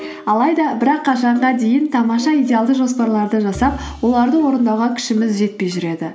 алайда бірақ қашанға дейін тамаша идеалды жоспарларды жасап оларды орындауға күшіміз жетпей жүреді